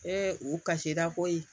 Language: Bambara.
u kasira koyi